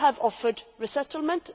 Some have offered resettlement.